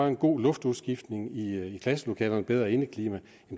en god luftudskiftning i klasselokalerne et bedre indeklima